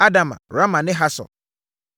Adama, Rama ne Hasor,